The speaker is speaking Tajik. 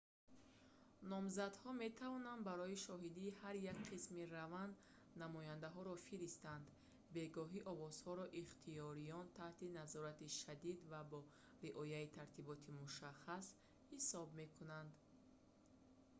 номзадҳо метавонанд барои шоҳидии ҳар як қисми раванд намояндаҳоро фиристанд бегоҳӣ овозҳоро ихтиёриён таҳти назорати шадид ва бо риояи тартиботи мушаххас ҳисоб мекунанд